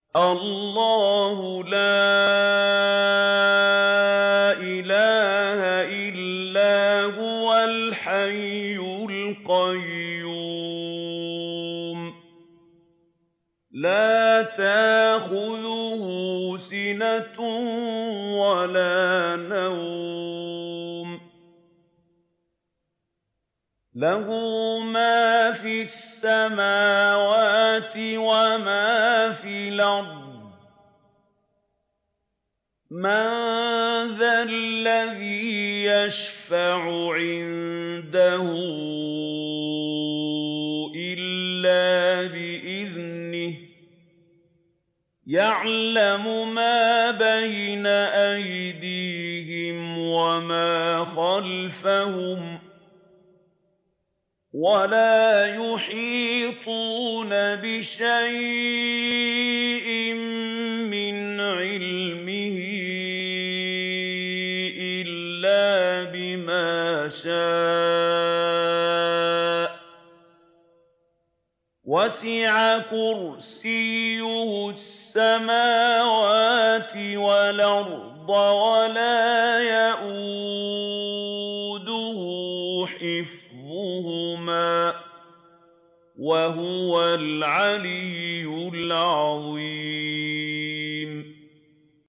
اللَّهُ لَا إِلَٰهَ إِلَّا هُوَ الْحَيُّ الْقَيُّومُ ۚ لَا تَأْخُذُهُ سِنَةٌ وَلَا نَوْمٌ ۚ لَّهُ مَا فِي السَّمَاوَاتِ وَمَا فِي الْأَرْضِ ۗ مَن ذَا الَّذِي يَشْفَعُ عِندَهُ إِلَّا بِإِذْنِهِ ۚ يَعْلَمُ مَا بَيْنَ أَيْدِيهِمْ وَمَا خَلْفَهُمْ ۖ وَلَا يُحِيطُونَ بِشَيْءٍ مِّنْ عِلْمِهِ إِلَّا بِمَا شَاءَ ۚ وَسِعَ كُرْسِيُّهُ السَّمَاوَاتِ وَالْأَرْضَ ۖ وَلَا يَئُودُهُ حِفْظُهُمَا ۚ وَهُوَ الْعَلِيُّ الْعَظِيمُ